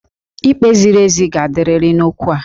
Ikpe ziri ezi ga-adịrịrị n'okwu a